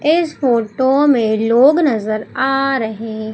इस फोटो में लोग नजर आ रहे--